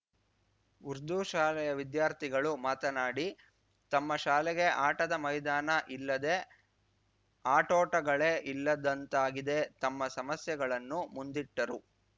ಉರ್ದು ಶಾಲೆಯ ವಿದ್ಯಾರ್ಥಿಗಳು ಮಾತನಾಡಿ ತಮ್ಮ ಶಾಲೆಗೆ ಆಟದ ಮೈದಾನ ಇಲ್ಲದೆ ಆಟೋಟಗಳೇ ಇಲ್ಲದಂತಾಗಿದೆ ತಮ್ಮ ಸಮಸ್ಯೆಗಳನ್ನು ಮುಂದಿಟ್ಟರು